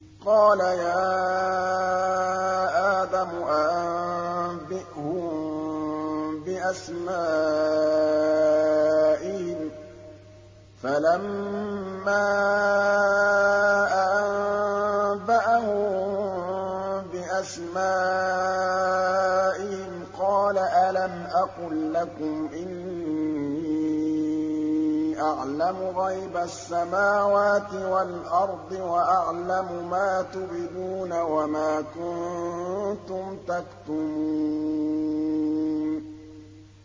قَالَ يَا آدَمُ أَنبِئْهُم بِأَسْمَائِهِمْ ۖ فَلَمَّا أَنبَأَهُم بِأَسْمَائِهِمْ قَالَ أَلَمْ أَقُل لَّكُمْ إِنِّي أَعْلَمُ غَيْبَ السَّمَاوَاتِ وَالْأَرْضِ وَأَعْلَمُ مَا تُبْدُونَ وَمَا كُنتُمْ تَكْتُمُونَ